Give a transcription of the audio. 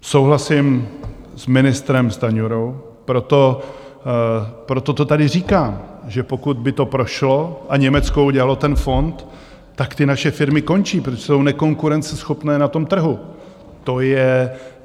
Souhlasím s ministrem Stanjurou, proto to tady říkám, že pokud by to prošlo a Německo udělalo ten fond, tak ty naše firmy končí, protože jsou nekonkurenceschopné na tom trhu.